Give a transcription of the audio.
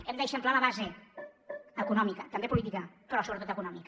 hem d’eixamplar la base econòmica també política però sobretot econòmica